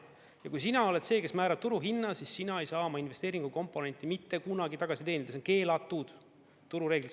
Ja kui sina oled see, kes määrab turuhinna, siis sina ei saa oma investeeringukomponenti mitte kunagi tagasi teenida, see on keelatud turureeglites.